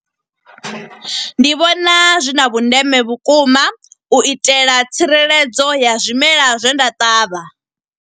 Ndi vhona zwi na vhundeme vhukuma, u itela tsireledzo ya zwimela zwe nda ṱavha.